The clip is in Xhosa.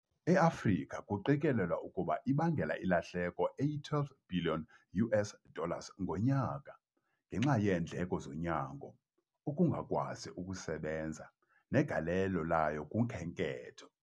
EAfrika kuqikelelwa ukuba ibangela ilahleko eyi-12 bhiliyoni US dollars ngonyaka ngenxa yeendleko zonyango, ukungakwazi ukusebenza negalelo layo kukhenketho.